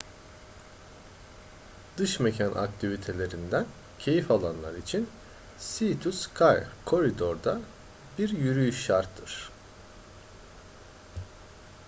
dış mekan aktivitelerinden keyif alanlar için sea to sky corridor'da bir yürüyüş şarttır